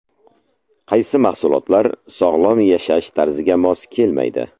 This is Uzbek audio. Qaysi mahsulotlar sog‘lom yashash tarziga mos kelmaydi?.